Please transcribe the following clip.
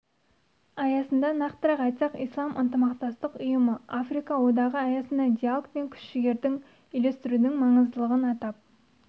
аясында нақтырақ айтсақ ислам ынтымақтастық ұйымы африка одағы аясында диалог пен күш-жігерді үйлестірудің маңыздылығын атап